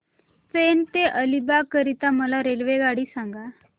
पेण ते अलिबाग करीता मला रेल्वेगाडी सांगा